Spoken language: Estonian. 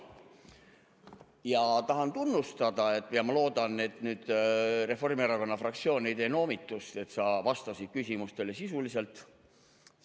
Ma tahan sind tunnustada ja ma loodan, et Reformierakonna fraktsioon ei tee noomitust selle eest, et sa vastasid küsimustele sisuliselt.